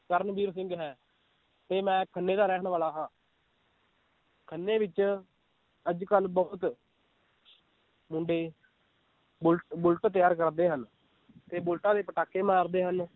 ਕਰਨਵੀਰ ਸਿੰਘ ਹੈ ਤੇ ਮੈ ਖੰਨੇ ਦਾ ਰਹਿਣ ਵਾਲਾ ਹਾਂ ਖੰਨੇ ਵਿਚ ਅੱਜ ਕੱਲ ਬਹੁਤ ਮੁੰਡੇ ਬੁੱਲ~ ਬੁਲਟ ਤਿਆਰ ਕਰਦੇ ਹਨ ਤੇ ਬੁਲਟਾਂ ਦੇ ਪਟਾਕੇ ਮਾਰਦੇ ਹਨ l